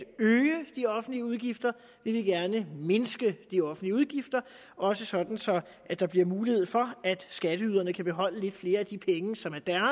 øge de offentlige udgifter vi vil gerne mindske de offentlige udgifter også sådan at der bliver mulighed for at skatteyderne kan beholde lidt flere af de penge som er